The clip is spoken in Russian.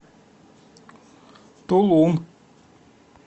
тулун